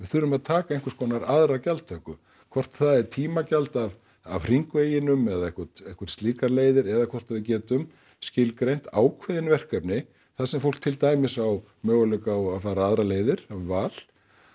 þurfum að taka einhvers konar aðra gjaldtöku hvort það er tímagjald af af hringveginum eða eitthvert eitthvert slíkar leiðir eða hvort við getum skilgreint ákveðin verkefni þar sem fólk til dæmis á möguleika á að fara aðrar leiðir val